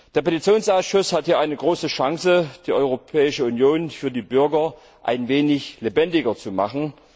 Der Petitionsausschuss hat hier eine große Chance, die Europäische Union für die Bürger ein wenig lebendiger zu machen.